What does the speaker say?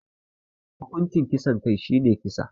Hukuncin kisan kai shine kisa.